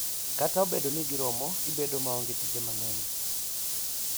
Kata obedo ni giromo gi bedo maonge tije mang'eny,